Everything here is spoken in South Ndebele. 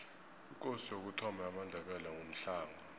ikosi yokuthoma yamandebele ngumhlanga